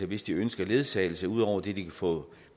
hvis de ønsker ledsagelse ud over det de kan få